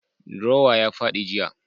Drawer ya fadi jiya.